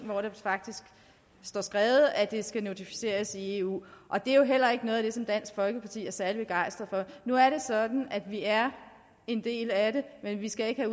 hvor det faktisk står skrevet at det skal notificeres i eu og det er jo heller ikke noget af det som dansk folkeparti er særlig begejstret for nu er det sådan at vi er en del af eu men vi skal ikke